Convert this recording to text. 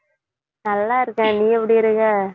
நல்லாருக்கேன் நீ எப்படி இருக்க